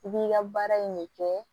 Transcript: I b'i ka baara in de kɛ